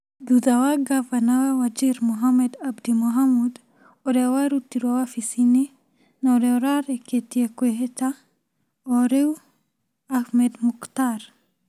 Thutha wa ngavana wa Wajir Mohamed Abdi Mohamud ũrĩa warutirũo wabici-inĩ, na ũrĩa ũrarĩkĩtie kwĩhĩta ũrĩu Ahmed Muktar,